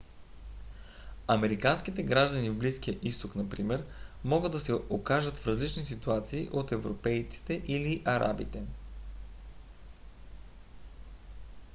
американските граждани в близкия изток например могат да се окажат в различни ситуации от европейците или арабите